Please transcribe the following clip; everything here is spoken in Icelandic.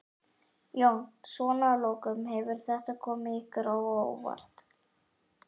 Jón: Svona að lokum, hefur þetta komið ykkur á óvart?